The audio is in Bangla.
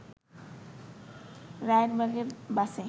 রায়েরবাগে বাসে